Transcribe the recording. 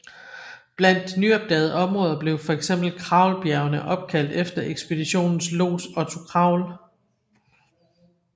Blandt de nyopdagede områder blev for eksempel Kraulbjergene opkaldt efter ekspeditionens lods Otto Kraul